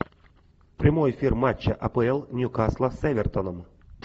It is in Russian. прямой эфир матча апл ньюкасла с эвертон